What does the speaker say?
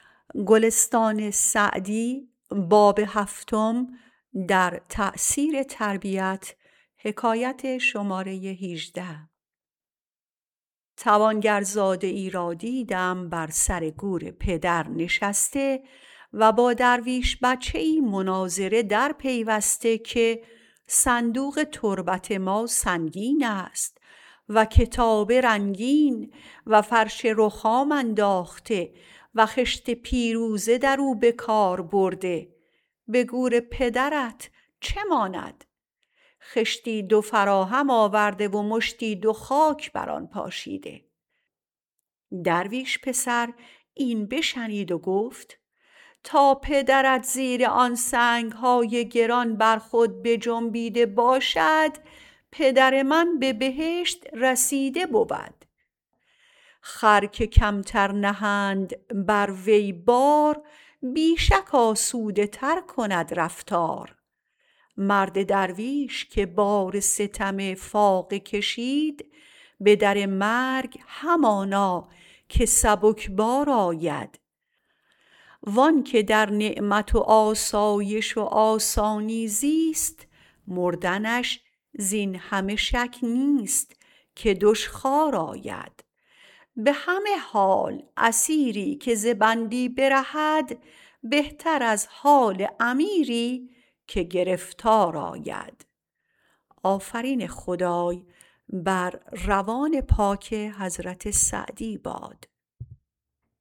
توانگرزاده ای را دیدم بر سر گور پدر نشسته و با درویش بچه ای مناظره در پیوسته که صندوق تربت ما سنگین است و کتابه رنگین و فرش رخام انداخته و خشت پیروزه در او به کار برده به گور پدرت چه ماند خشتی دو فراهم آورده و مشتی دو خاک بر آن پاشیده درویش پسر این بشنید و گفت تا پدرت زیر آن سنگ های گران بر خود بجنبیده باشد پدر من به بهشت رسیده بود خر که کمتر نهند بر وی بار بی شک آسوده تر کند رفتار مرد درویش که بار ستم فاقه کشید به در مرگ همانا که سبکبار آید وآن که در نعمت و آسایش و آسانی زیست مردنش زین همه شک نیست که دشخوار آید به همه حال اسیری که ز بندی برهد بهتر از حال امیری که گرفتار آید